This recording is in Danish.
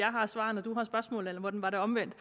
jeg har svarene du har spørgsmålene eller var det omvendt